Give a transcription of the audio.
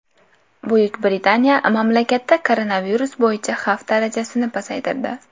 Buyuk Britaniya mamlakatda koronavirus bo‘yicha xavf darajasini pasaytirdi.